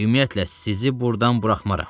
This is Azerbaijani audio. Ümumiyyətlə, sizi buradan buraxmaram.